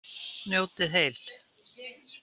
Njótið heil!